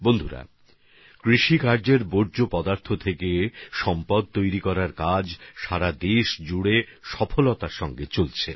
বন্ধুগণ কৃষির বর্জ্য থেকে সম্পদ সৃষ্টি করারও কিছু পদ্ধতি দেশজুড়ে সফলতার সঙ্গে চলছে